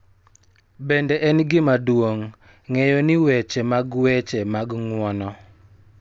Bende en gima duong� ng�eyo ni weche mag weche mag ng�uono .